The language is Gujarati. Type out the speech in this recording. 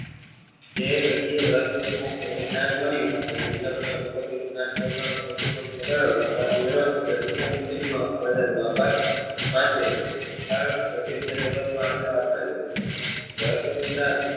એ ઘડીએ રહસ્ય નું મને જ્ઞાન મળ્યું અને દુન્નીયા મને જ્ઞાન પહોચાડવા બદલ આભાર માનતી રહી કારણ કે film જગત માં આણંદ આપનારી હતી